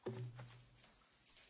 Pani Przewodnicząca!